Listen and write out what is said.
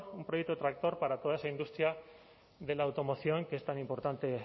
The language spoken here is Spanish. un proyecto tractor para toda esa industria de la automoción que es tan importante